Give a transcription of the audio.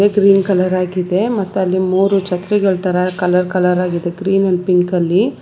Green colour ಆಗಿದೆ ಮತ್ ಅಲ್ಲಿ ಮೂರ ಛತ್ರಿಗಳ ತರಾ ಕಲರ್ ಕಲರ್ ಆಗಿದೆಗ್ರೀನ ಅಂಡ್ ಪಿಂಕ್ ಅಲ್ಲಿ.